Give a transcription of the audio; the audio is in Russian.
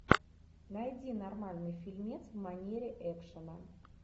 найди нормальный фильмец в манере экшена